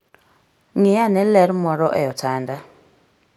Ng'i ane ler moro e otanda.